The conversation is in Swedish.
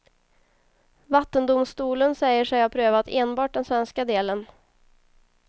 Vattendomstolen säger sig ha prövat enbart den svenska delen.